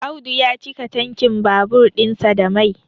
Audu ya cika tankin babur ɗinsa da Mai